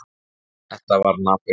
Þetta var napurt.